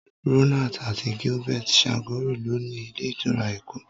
Ronald àti Gilbert Chagoury lo ni ilé ìtura Èkó.